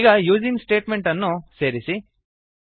ಈಗ using statement ಅನ್ನು ಸೇರಿಸಿ